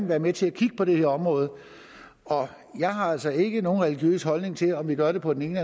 være med til at kigge på det her område jeg har altså ikke nogen religiøs holdning til om vi gør det på den ene